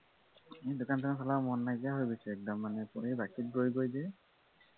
দোকানখন চলাব মন নাইকিয়া হৈ গৈছে একদম বাকীত গৈ গৈ যে